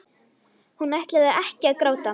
Hún ætlar ekki að gráta.